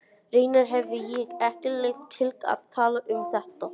Reyndar hefi ég ekki leyfi til að tala um þetta.